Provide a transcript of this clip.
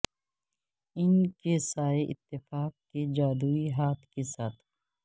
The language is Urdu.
ان کے سائے اتفاق کے جادوئی ہاتھ کے ساتھ